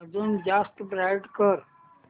अजून जास्त ब्राईट कर